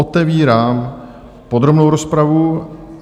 Otevírám podrobnou rozpravu